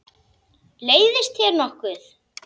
Leiðist þér nokkuð?